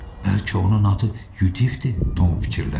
Bəlkə onun adı Yudifdir, Tom fikirləşdi.